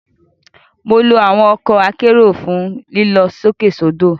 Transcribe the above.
Mo lo awọn ọkọ akero fun lilọ sókè sodo.